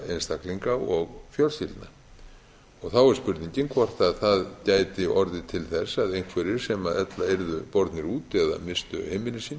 einstaklinga og fjölskyldna þá er spurningin hvort það gæti orðið til þess að einhverjir sem ella yrðu bornir út eða misstu heimili sín